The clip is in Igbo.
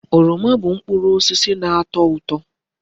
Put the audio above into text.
Oroma bu mkpụrụ osisi na-ato uto.